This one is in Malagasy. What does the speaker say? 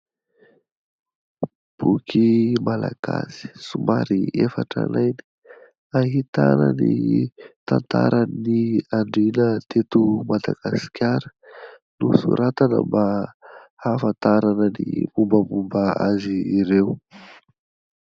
Boky malagasy somary efa tranainy, ahitana ny tantaran'ny andriana teto Madagasikara. Nosoratana mba hahafantarana ny mombamomba azy ireo.